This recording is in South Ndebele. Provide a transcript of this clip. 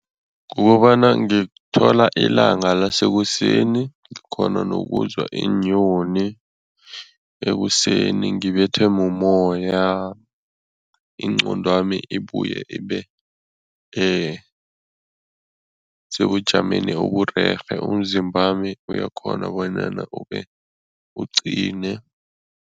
Kukobana ngithola ilanga lasekuseni, ngikghona nokuzwa iinyoni ekuseni, ngibethwe mumoya, ingqondwami ibuye ibe sebujameni oburerhe, umzimbami uyakghona bonyana ube uqine.